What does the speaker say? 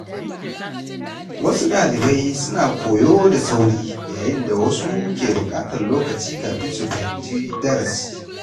Wasu ɗalibai suna koyo da sauri, yayin da wasu ke buƙatar lokaci kafin su fahimci darasi.